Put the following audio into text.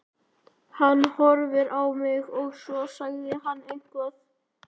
Hann horfði á mig og svo sagði hann eitthvað.